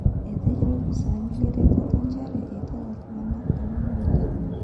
Etejo lopisani leretoto nchere etwata ltunganak tomon oile.